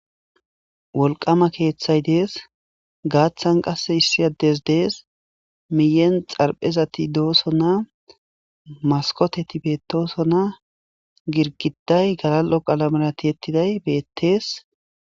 Wollqama keththayi deess gaththan qasse issi addezi deess miyen xarphezatti doossona maskotetti bettossona girgiddayi galallo qalamera tiyettidayi bettes.